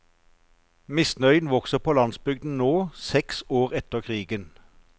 Misnøyen vokser på landsbygden nå, seks år etter krigen.